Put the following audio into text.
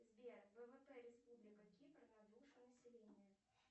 сбер ввп республика кипр на душу населения